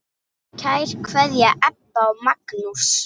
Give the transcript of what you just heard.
Kær kveðja, Ebba og Magnús.